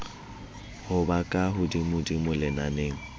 ho ba ka hodimodimo lenaneng